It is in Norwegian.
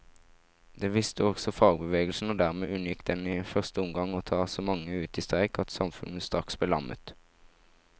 Det visste også fagbevegelsen, og dermed unngikk den i første omgang å ta så mange ut i streik at samfunnet straks ble lammet.